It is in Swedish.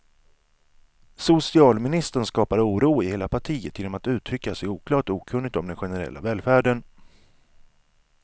Socialministern skapar oro i hela partiet genom att uttrycka sig oklart och okunnigt om den generella välfärden.